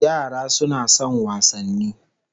Yara suna son wasanni